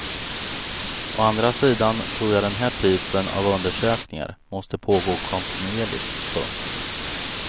Å andra sidan tror jag att den här typen av undersökningar måste pågå kontinuerligt. punkt